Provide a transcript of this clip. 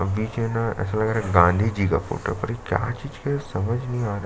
बीच में न ऐसा लग रहा है गाँधी जी का फोटो पर यह का चीज़ का है समझ नहीं आ रहा हैं।